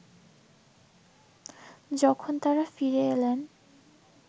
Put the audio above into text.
যখন তাঁরা ফিরে এলেন